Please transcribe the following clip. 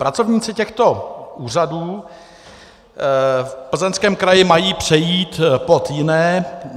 Pracovníci těchto úřadů v Plzeňském kraji mají přejít pod jiné.